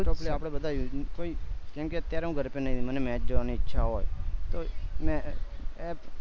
જો તે આપદા બધા કેમકે અત્યારે હું ઘર પે નહી મને match જોવાની ઈચ્છા હોય તો